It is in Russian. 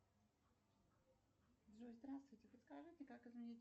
джой здравствуйте подскажите как изменить